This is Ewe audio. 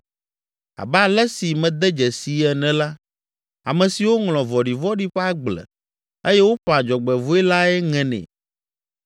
Abe ale si mede dzesii ene la, ame siwo ŋlɔ vɔ̃ɖivɔ̃ɖi ƒe agble eye woƒã dzɔgbevɔ̃e lae ŋenɛ.